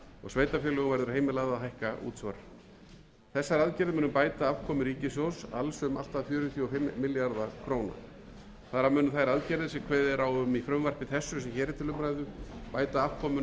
sveitarfélögum verður heimilað að hækka útsvar þessar aðgerðir munu bæta afkomu ríkissjóðs alls um allt að fjörutíu og fimm milljarða króna þar af munu þær aðgerðir sem kveðið er á um